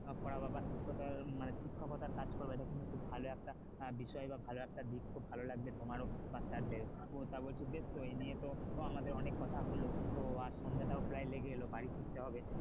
পড়াবা বা শিক্ষতার মানে শিক্ষাকতার কাজ করবা এটা কিন্তু খুব ভালো একটা বিষয় ভালো একটা দিক খুব ভালো লাগছে তোমারও বা sir দেরও, তা বলছে বেশ তো ওই নিয়ে তো আমাদের অনেক কথা হলো তো আর সন্ধাটাও প্রায় লেগে এলো বাড়ি ফিরতে হবে,